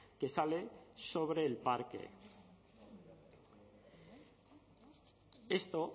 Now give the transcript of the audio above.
que sale sobre el parque esto